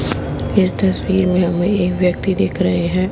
इस तस्वीर में हमें एक व्यक्ति दिख रहे हैं।